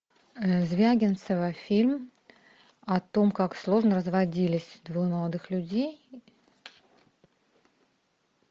звягинцева фильм о том как сложно разводились двое молодых людей